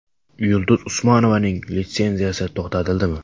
Yulduz Usmonovaning litsenziyasi to‘xtatildimi?